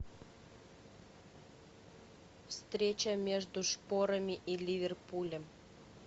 встреча между шпорами и ливерпулем